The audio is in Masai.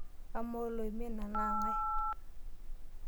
Amaa oloima ene naa ng'ae ?